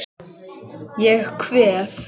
Ég kveð.